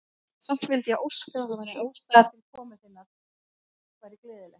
Samt vildi ég óska, að ástæðan til komu þinnar væri gleðilegri.